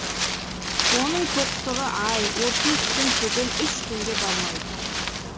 оның тоқтығы ай отыз күн түгіл үш күнге бармайды